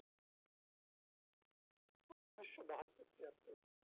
ওই ঊনিশশো বাহাত্তর তিয়াত্তর